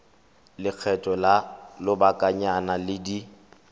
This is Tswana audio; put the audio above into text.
lekgetho la lobakanyana di ka